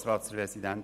Kommissionsprecher